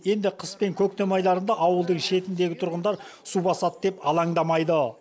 енді қыс пен көктем айларында ауылдың шетіндегі тұрғындар су басады деп алаңдамайды